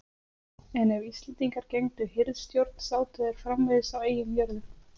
en ef íslendingar gegndu hirðstjórn sátu þeir framvegis á eigin jörðum